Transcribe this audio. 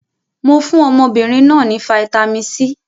Mo fún ọmọbìnrin náà ní fataímìn C.